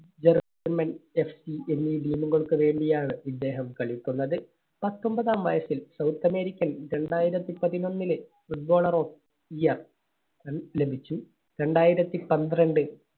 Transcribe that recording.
German F C എന്നീ Team കൾക്ക് വേണ്ടി ആണ് ഇദ്ദേഹം കളിക്കുന്നത്. പത്തൊമ്പതാം വയസ്സിൽ south american രണ്ടായിരത്തി പതിനൊന്നിലെ Footballer of Year ല~ലഭിച്ചു. രണ്ടായിരത്തി പന്ത്രണ്ട്